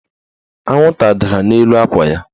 Anwụnta dara n'elu akwa ya.